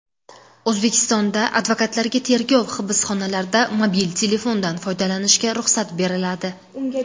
O‘zbekistonda advokatlarga tergov hibsxonalarida mobil telefondan foydalanishga ruxsat beriladi.